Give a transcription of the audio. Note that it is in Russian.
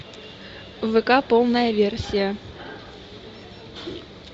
вк полная версия